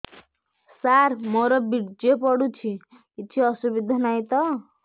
ସାର ମୋର ବୀର୍ଯ୍ୟ ପଡୁଛି କିଛି ଅସୁବିଧା ନାହିଁ ତ